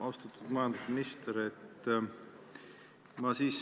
Austatud majandusminister!